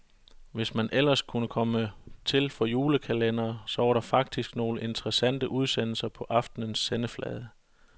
Hvis man ellers kunne komme til for julekalendere, så var der faktisk nogle interessante udsendelser på aftenens sendeflade.